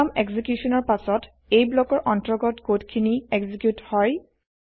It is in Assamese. প্ৰগ্ৰেম এক্সিকিউচনৰ পাছত এই ব্লকৰ অন্তৰ্গত কড খিনি এক্সিকিউত হয়